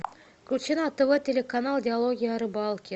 включи на тв телеканал диалоги о рыбалке